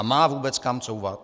A má vůbec kam couvat?